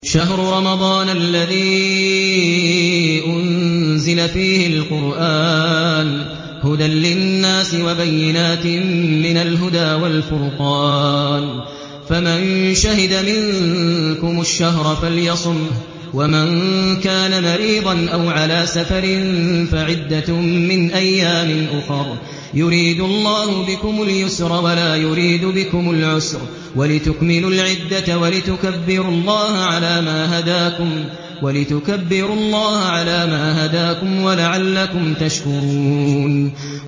شَهْرُ رَمَضَانَ الَّذِي أُنزِلَ فِيهِ الْقُرْآنُ هُدًى لِّلنَّاسِ وَبَيِّنَاتٍ مِّنَ الْهُدَىٰ وَالْفُرْقَانِ ۚ فَمَن شَهِدَ مِنكُمُ الشَّهْرَ فَلْيَصُمْهُ ۖ وَمَن كَانَ مَرِيضًا أَوْ عَلَىٰ سَفَرٍ فَعِدَّةٌ مِّنْ أَيَّامٍ أُخَرَ ۗ يُرِيدُ اللَّهُ بِكُمُ الْيُسْرَ وَلَا يُرِيدُ بِكُمُ الْعُسْرَ وَلِتُكْمِلُوا الْعِدَّةَ وَلِتُكَبِّرُوا اللَّهَ عَلَىٰ مَا هَدَاكُمْ وَلَعَلَّكُمْ تَشْكُرُونَ